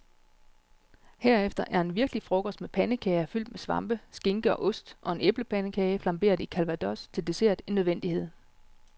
Herefter er en virkelig frokost med pandekager fyldt med svampe, skinke og ost og en æblepandekage flamberet i calvados til dessert en nødvendighed.